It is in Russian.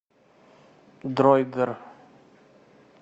дроидер